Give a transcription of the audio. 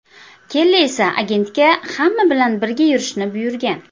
Kelli esa agentga hamma bilan birga yurishni buyurgan.